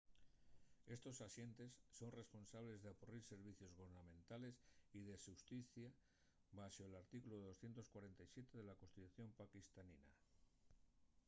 estos axentes son responsables d'apurrir servicios gubernamentales y de xusticia baxo l’artículu 247 de la constitución paquistanina